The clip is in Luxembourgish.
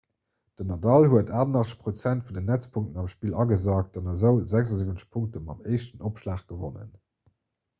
den nadal huet 88 % vun den netzpunkten am spill agesackt an esou 76 punkte mam éischten opschlag gewonnen